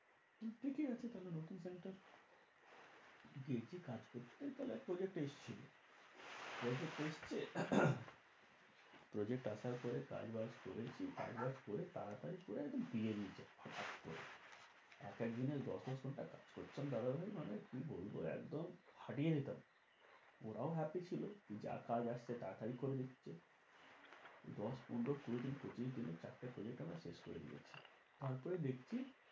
কি বলবো একদম ফাটিয়ে দিতাম ওরাও happy ছিল যা কাজ আসছে তাড়াতড়ি করে দিচ্ছে। দশ পনেরো কুড়ি দিন পঁচিশ দিনে চারটে project আমরা শেষ করে দিয়েছি। তার পরে দেখছি।